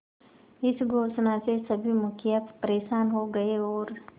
इस घोषणा से सभी मुखिया परेशान हो गए और